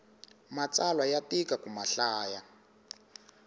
matsalwa ya tika ku mahlaya